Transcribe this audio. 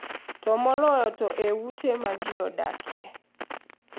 To moloyo to e ute ma ji odakie.